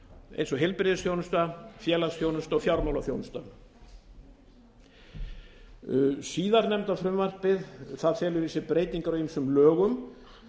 eins og heilbrigðisþjónusta félagsþjónusta og fjármálaþjónusta síðarnefnda frumvarpið felur í sér breytingar á ýmis lögum